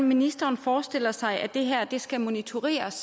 ministeren forestiller sig at det her skal monitoreres